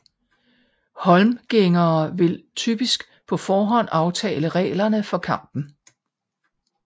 Holmgængere ville typisk på forhånd aftale reglerne for kampen